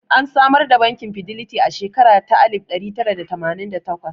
An samar da bankin Fidelity a shekara ta alif ɗari tara da tamanin da takwas